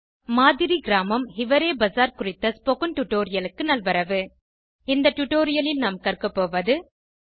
மாதிரி கிராமம்160 ஹிவரே பசார் குறித்த ஸ்போகன் டுடோரியலுக்கு நல்வரவு இந்த டுடோரியலில் நாம் கற்க போவது 1